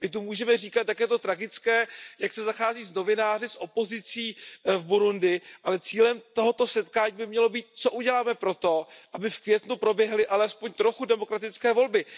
My tu můžeme říkat, jak je to tragické, jak se zachází s novináři, s opozicí v Burundi, ale cílem tohoto setkání by mělo být, co uděláme pro to, aby v květnu proběhly alespoň trochu demokratické volby.